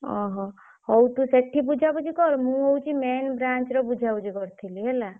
ଓହୋ ହଉ ତୁ ସେଠି ବୁଝାବୁଝି କର ମୁଁ ହଉଛି main branch ର ବୁଝାବୁଝି କରୁଥିଲି ହେଲା।